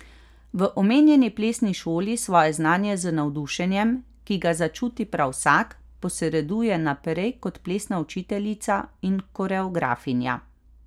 V omenjeni plesni šoli svoje znanje z navdušenjem, ki ga začuti prav vsak, posreduje naprej kot plesna učiteljica in koreografinja.